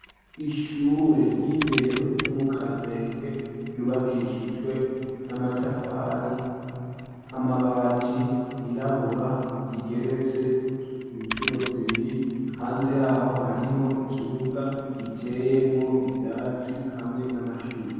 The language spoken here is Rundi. Ishure ry'indero ryo mu Kamenge ryubakishijwe n'amatafari, amabati yirabura rigeretse incuro zibiri, hanze yaho hariho ikibuga giteyemwo ivyatsi hamwe n'amashurwe.